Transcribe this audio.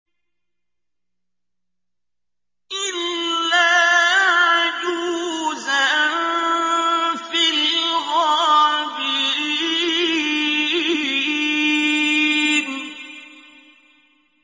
إِلَّا عَجُوزًا فِي الْغَابِرِينَ